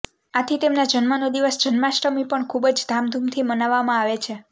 આથી તેમના જન્મનો દિવસ જન્માષ્ટમી પણ ખૂબ જ ધામધૂમથી મનાવવામાં આવે છે